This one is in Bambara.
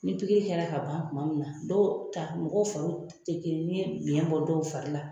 Ni pikiri kɛ la ka ban tuma min na ,dɔw ta mɔgɔw fariw te kelen ye ni ye biɲɛ bɔ dɔw fari la